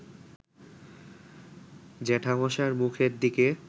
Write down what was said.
জ্যাঠামশায়ের মুখের দিকে